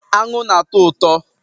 Aṅụ na-atọ ụtọ